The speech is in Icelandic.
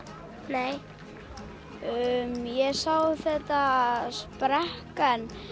nei sá þegar þetta sprakk en